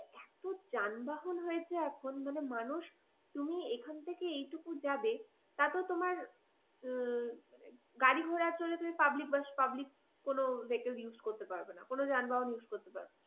এত যানবাহন হয়েছে এখন মানে মানুষ তুমি এখান থেকে এইটুকু যাবে তাতেও তোমার হম গাড়ি ঘোড়া চড়ে তুমি পাবলিক বাস পাবলিক কোন vehicles করতে পারবে না কোন যানবাহন use করতে পারবে না